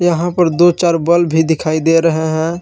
यहां पर दो चार बल भी दिखाई दे रहे हैं।